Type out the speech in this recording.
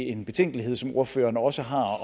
en betænkelighed som ordføreren også har